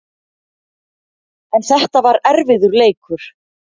En þetta var erfiður leikur